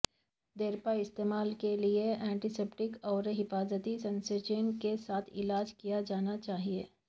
دیرپا استعمال کے لئے ینٹیسیپٹیک اور حفاظتی سنسیچن کے ساتھ علاج کیا جانا چاہئے